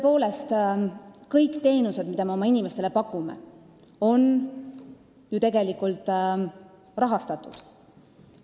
Tõepoolest, kõik teenused, mida me oma inimestele pakume, on ju tegelikult rahastatud.